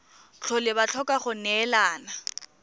tlhole ba tlhoka go neelana